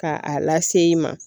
Ka a lase i ma